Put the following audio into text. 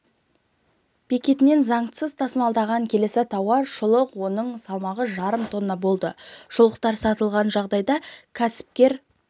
бекетінен заңсыз тасымалданған келесі тауар шұлық оның салмағы жарым тонна болды шұлықтар сатылған жағдайда кәсіпкер